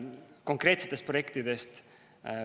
Konkreetsetest projektidest.